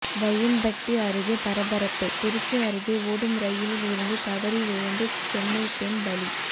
வையம்பட்டி அருகே பரபரப்பு திருச்சி அருகே ஓடும் ரயிலில் இருந்து தவறி விழுந்து சென்னை பெண் பலி